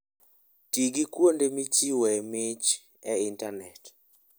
Ti gi kuonde michiwoe mich e intanet.